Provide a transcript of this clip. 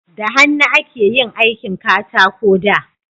da hannu ake yin aikin katako da